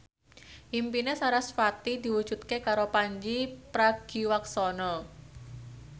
impine sarasvati diwujudke karo Pandji Pragiwaksono